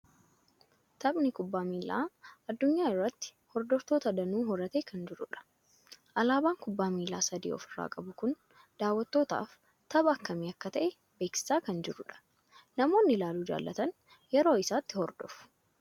Taphni kubbaa miilaa addunyaa irratti hordoftoota danuu horatee kan jirudha. Alaabaan kubbaa miilaa sadii ofirraa qabu kun daawwattootaaf tapha akkamii akka ta'e beeksisaa kan jirudha. Nammoonni ilaaluu jaalatan yeroo isaatti hordofu.